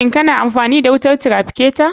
Shin kana amfani da wutar traficatar?